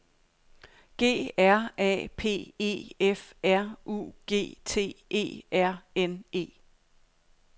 G R A P E F R U G T E R N E